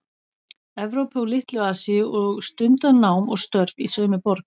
Evrópu og Litlu- Asíu og stundað nám og störf í sömu borg